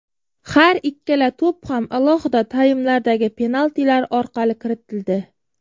Har ikkala to‘p ham alohida taymlardagi penaltilar orqali kiritildi.